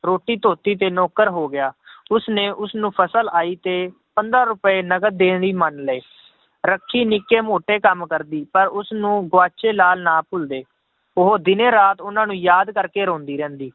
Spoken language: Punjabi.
ਰੋਟੀ ਧੋਤੀ ਤੇ ਨੌਕਰ ਹੋ ਗਿਆ ਉਸਨੇ ਉਸਨੂੰ ਫਸਲ ਆਈ ਤੇ, ਪੰਦਰਾਂ ਰੁਪਏ ਨਕਦ ਦੇਣ ਲਈ ਮੰਨ ਲਏ ਰੱਖੀ ਨਿੱਕੇ ਮੋਟੇ ਕੰਮ ਕਰਦੀ ਪਰ ਉਸਨੂੰ ਗੁਆਚੇ ਲਾਲ ਨਾ ਭੁੱਲਦੇ, ਉਹ ਦਿਨੇ ਰਾਤ ਉਹਨਾਂ ਨੂੰ ਯਾਦ ਕਰਕੇ ਰੋਂਦੀ ਰਹਿੰਦੀ